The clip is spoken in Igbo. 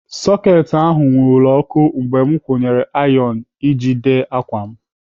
Soketị ahụ nwurule ọkụ mgbe m kwunyere ayon m ji ede ákwà.